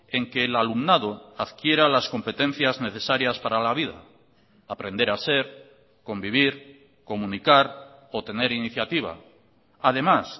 en que el alumnado adquiera las competencias necesarias para la vida aprender a ser convivir comunicar o tener iniciativa además